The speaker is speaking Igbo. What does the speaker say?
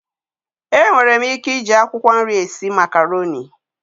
Enwere m ike ije akwụkwọ nri esi makaroni.